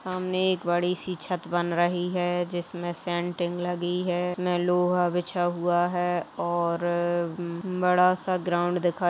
सामने एक बड़ी से छत बन रही है जिसमे सेन्टीग लगी है इसमे लोहा बिछा हुआ है और बड़ा सा ग्राउन्ड दिखाई --